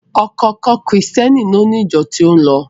Ọ̀kọ̀ọ̀kan Krìstẹ́ni ni ó ni ìjọ tí ó ń lọ.